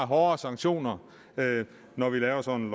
hårdere sanktioner når vi laver sådan